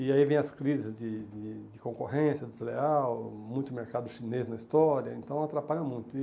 E aí vem as crises de de de concorrência, desleal, muito mercado chinês na história, então atrapalha muito.